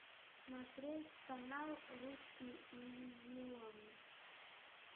смотреть канал русский иллюзион